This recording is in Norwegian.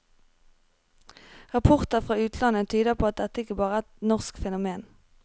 Rapporter fra utlandet tyder på at dette ikke bare er et norsk fenomen.